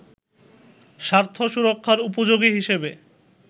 স্বার্থ সুরক্ষার উপযোগী হিসেবে